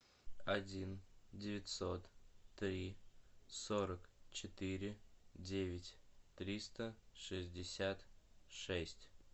один девятьсот три сорок четыре девять триста шестьдесят шесть